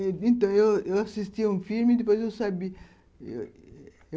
É. Eu eu assistia um filme e depois eu sabia eu